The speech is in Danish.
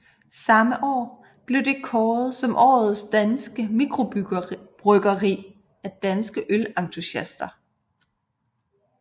Samme år blev det kåret som årets danske mikrobryggeri af Danske Ølentusiaster